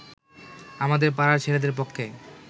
আমাদের পাড়ার ছেলেদের পক্ষে